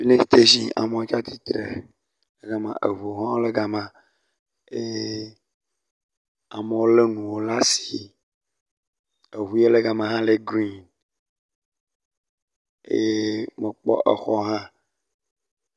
…amewo tsatsitre le gama, eŋuwo hã le gama eye amewo lé enuwo le asi. Eŋu ye le gama hã le grin eye mekpɔ exɔ hã.